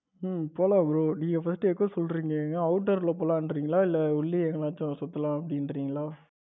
உம் போலாம் bro நீங்க first எப்போ சொல்றீங்க out door ல போலான்றீங்களா? இல்ல உள்ளே எங்கேயாச்சும் சுத்தலாம் அப்டின்றீங்களா?